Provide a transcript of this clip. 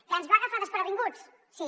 que ens va agafar desprevinguts sí